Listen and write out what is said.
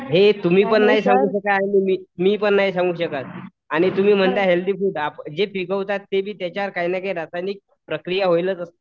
हे तुम्ही पण नाही सांगू शकाल आणि मी पण नाही सांगू शकत आणि तुम्ही म्हणता हेल्थी फूड जे पिकवतात ते बी त्याच्यावर काही न काही रासायनिक प्रक्रिया होईलच असती.